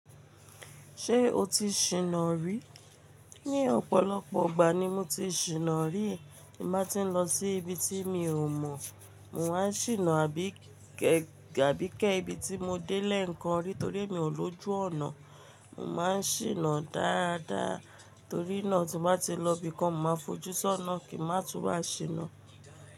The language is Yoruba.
Ṣé o ti ṣìná rí? Ni ọ̀pọ̀lọpọ̀ ìgbà ni mo ti ṣìnà rí. Tí mo bá ti ń lọ sí ibi tí mi ò mọ̀, mò máa ń ṣìnà àbí kẹ́ àbí kẹ́ ibi tí mo dé lẹ́ẹ̀kan rí torí emi ò lójú ọ̀nà. Mo má ń ṣìnà dáadáa torí náà tí n bá ti lọ ibìkan mo máa fojú sí ọ̀nà kí n má túbà ṣìnà.